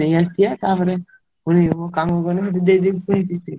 ନେଇଆସିଆ ତା ପରେ ପୁଣି ମୁଁ କାମ କରିବି ଦେଇଦେବି କିସ୍ତି।